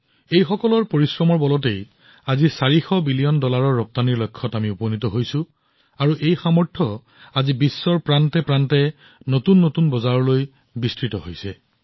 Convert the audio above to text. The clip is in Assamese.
তেওঁলোকৰ কঠোৰ পৰিশ্ৰমৰ জৰিয়তে ৪০০ বিলিয়ন ডলাৰৰ ৰপ্তানিৰ লক্ষ্য প্ৰাপ্ত কৰা হৈছে আৰু মই সুখী যে ভাৰতৰ জনসাধাৰণৰ এই শক্তি এতিয়া বিশ্বৰ প্ৰতিটো প্ৰান্তত নতুন বজাৰত উপনীত হৈছে